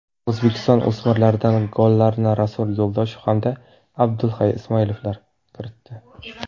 O‘zbekiston o‘smirlaridan gollarni Rasul Yo‘ldoshev hamda Abdulhay Ismoilovlar kiritdi.